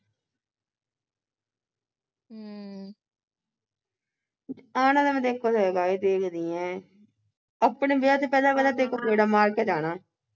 ਹਮ ਆਉਣ ਵਾਲਾ ਮੈਂ ਤੇਰੇ ਕੋ ਦੇਖਦੀ ਐ ਆਪਣੇ ਵਿਆਹ ਤੇ ਪਹਿਲਾਂ ਪਹਿਲਾਂ ਤੇਰੇ ਕੋਲ ਗੇੜਾ ਮਾਰ ਕੇ ਜਾਣਾ।